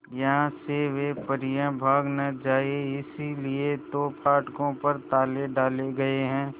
यहां से वे परियां भाग न जाएं इसलिए तो फाटकों पर ताले डाले गए हैं